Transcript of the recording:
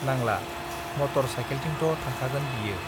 नांला मटर साइकेलथिंथ थांखागोन बियो